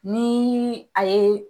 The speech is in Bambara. Ni a ye